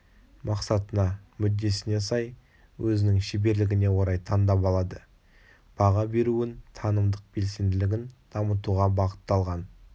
мақсатына мүддесіне сай өзінің шеберлігіне орай таңдап алады баға беруін танымдық белсенділігін дамытуға бағытталған